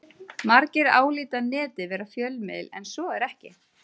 Margir álíta Netið vera fjölmiðil en svo er ekki.